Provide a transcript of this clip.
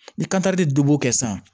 Ni dɔ b'o kɛ sisan